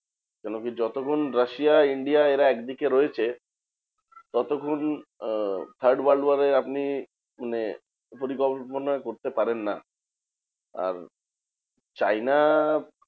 কেনোকি যতক্ষণ রাশিয়া India এরা একদিকে রয়েছে ততক্ষন third world war এ আপনি মানে পরিকল্পনা করতে পারেন না। আর চায়না